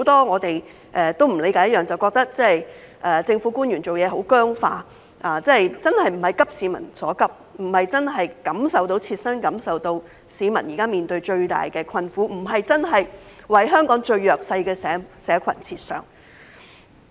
我們都不理解，政府官員做事很僵化，不是"急市民所急"，沒有切身感受市民現時面對的最大困苦，不是為香港最弱勢的社群設想。